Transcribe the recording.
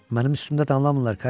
Mənim üstümdə danlamırlar Katinka.